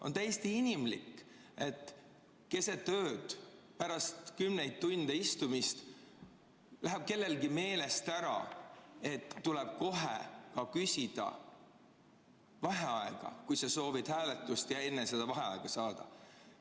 On täiesti inimlik, et keset ööd, pärast kümneid tunde istumist läheb kellelgi meelest ära, et tuleb kohe küsida vaheaega, kui sa soovid hääletust ja enne seda vaheaega saada.